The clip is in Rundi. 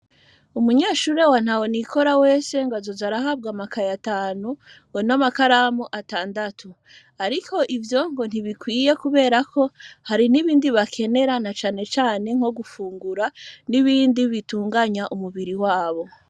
Umunyeshure wa ntaho nikora wese, ngo azoza arahabwa amakaye atanu ngo n'amakaramu atandatu, ariko ivyo ngo ntibikwiye kubera ko hari n'ibindi bakenera, na cane cane nko gufungura n'ibindi bitunganya umubiri wabo.